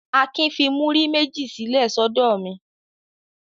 Akin fi múrí méjì sílẹ̀ sọ́dọ̀ mi.